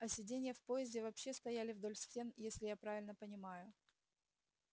а сиденья в поезде вообще стояли вдоль стен если я правильно понимаю